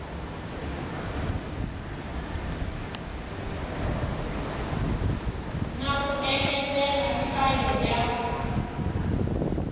na ku engetela nhlayo ya